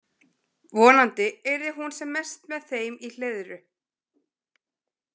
Vonandi yrði hún sem mest með þeim í Hleiðru.